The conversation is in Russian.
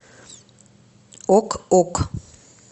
ок ок